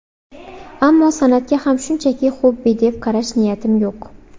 Ammo san’atga ham shunchaki xobbi deb qarash niyatim yo‘q.